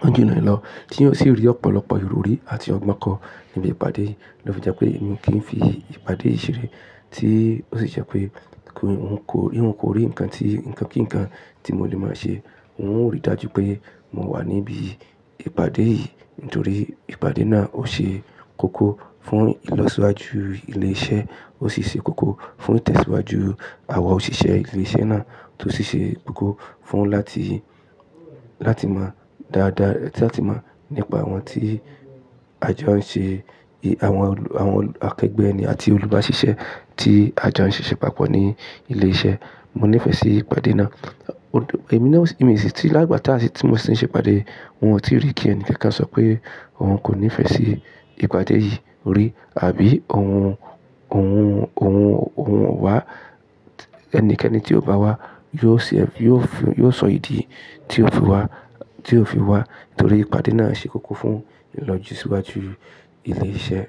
wọ́n ju'ni lọ tí ó sì rí ọ̀pọ̀lọpọ̀ ìrọrí àti ọgbọ́n kọ́ níbi ìpàdé yìí ló fi jẹ́ pé èmi kì í fi ìpàdé yìí ṣeré tí ó sì jẹ́ pé kò, n kò rí, n kò rí nǹkan tí, nǹkan kí nǹkan tí mo lè máa ṣe. N ó rí dájú pé mo wà níbí ìpàdé yìí nítorí ìpàdé náà ó ṣe kókó fún ìlọsíwájú ilé iṣẹ́, ó sì ṣe kókó fún ìtẹ̀síwájú àwa òṣìṣẹ́ ilé iṣẹ́ náà tó sì ṣe kókó fún láti, láti mọ dáadáa, láti máa mọ nípa àwọn tí àjọ ń ṣe, àwọn, àwọn akẹgbẹ́ ni àti olùbáṣiṣẹ́ tí àjọ ń ṣe ṣépapọ̀ ní ilé iṣẹ́. Mo nífẹ̀ẹ́ sí ìpàdé náà. Èmi náà látìgbà táà sí tí mo ti ń ṣe ìpàdé, n ò tí rí kí ẹni kankan sọ pé òun kò nífẹ̀ẹ́ sí ìpàdé yìí rí àbí òun, òun, òun, òun ò wá. Ẹnikẹ́ni tí ó bá wá yóò sì, yóò fún, yóò sọ ìdí tí ó fi wá, tí ó fi wá nítorí ìpàdé náà ṣe kókó fún ìlọsíwájú ilé iṣẹ́.